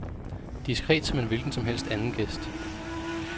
Diskret som en hvilken som helst anden gæst.